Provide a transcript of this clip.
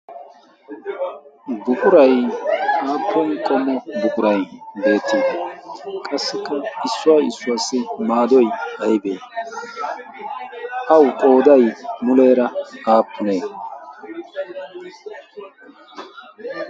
buqurai aappon qommo buqurai beet?i qassikka issuwaa issuwaassi maadoi aibee au qoodai muleera aappunee?